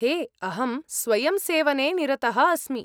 हे, अहं स्वयम्सेवने निरतः अस्मि।